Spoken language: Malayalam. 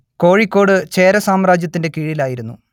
കോഴിക്കോട് ചേര സാമ്രാജ്യത്തിന്റെ കീഴിലായിരുന്നു